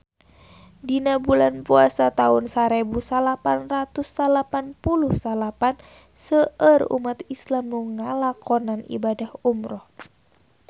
Dina bulan Puasa taun sarebu salapan ratus salapan puluh salapan seueur umat islam nu ngalakonan ibadah umrah